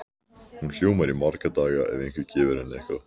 Hún ljómar í marga daga ef einhver gefur henni eitthvað.